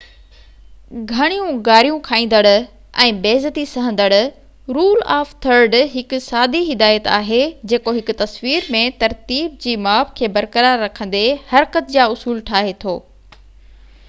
گهڻيون گاريون کائيندڙ ۽ بي عزتي سهندڙ رول آف ٿرڊ هڪ سادي هدايت آهي جيڪو هڪ تصوير ۾ ترتيب جي ماپ کي برقرار رکندي حرڪت جا اصول ٺاهي ٿو